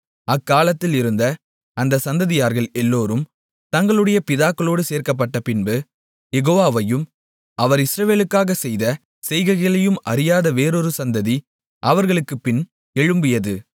அக்காலத்தில் இருந்த அந்தச் சந்ததியார்கள் எல்லோரும் தங்களுடைய பிதாக்களோடு சேர்க்கப்பட்டப்பின்பு யெகோவாவையும் அவர் இஸ்ரவேலுக்காகச் செய்த செய்கைகளையும் அறியாத வேறொரு சந்ததி அவர்களுக்குப்பின்பு எழும்பியது